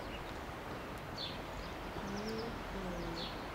гоали гоали